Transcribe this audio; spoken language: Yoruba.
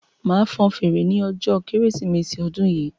Máa fan fèrè ní ọjọ kérésìmesì odun yìí